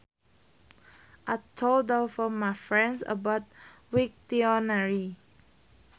I told all of my friends about Wiktionary